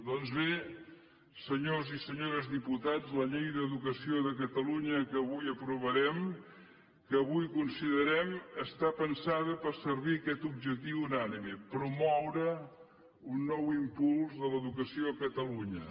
doncs bé senyors i senyores diputats la llei d’educació de catalunya que avui aprovarem que avui considerem està pensada per servir aquest objectiu unànime promoure un nou impuls de l’educació a catalunya